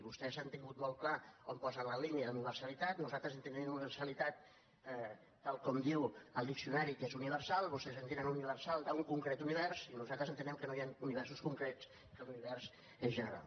vostès han tingut molt clar on posen la línia d’universalitat nosaltres entenem per universalitat tal com diu el diccionari que és universal vostès entenen per universal un concret univers i nosaltres entenem que no hi ha universos concrets que l’univers és general